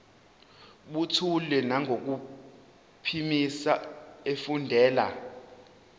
buthule nangokuphimisa efundela